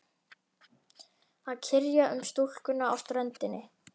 Að kyrja um stúlkuna á ströndinni.